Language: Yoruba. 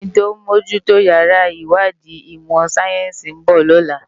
Eni tó n bójù tó iyàrá iwádi imò sáyènsi n bò lòlá